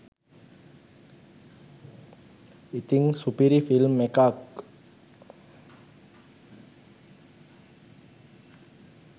ඉතින් සුපිරි ෆිල්ම් එකක්